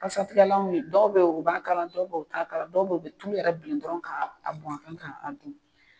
Kasatigɛlanw ye dɔw bɛ ye u b'a k'a la dɔw bɛ ye u t'a k'a la dɔw bɛ ye u bɛ tulu yɛrɛ bilen dɔrɔn ka a bɔn a kan ka a dun.